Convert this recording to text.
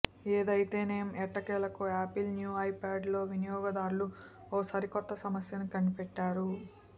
ఏదిఐతేనేం ఎట్టకేలకు Apple new iPad లో వినియోగదారులు ఓ సరిక్రొత్త సమస్యను కనిపెట్టారు